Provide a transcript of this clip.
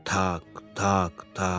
Taq, taq, taq.